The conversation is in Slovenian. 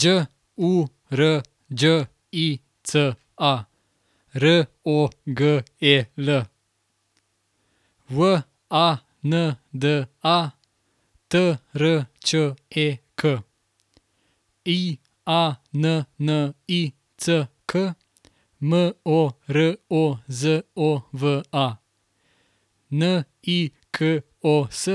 Đ U R Đ I C A, R O G E L; W A N D A, T R Č E K; I A N N I C K, M O R O Z O V A; N I K O S,